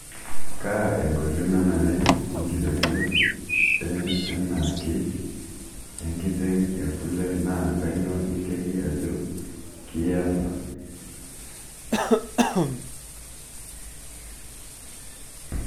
kaa enkoitoi nanare enkitotio enaake enkiteng e kule naa kanyioo inteki ajo kiasa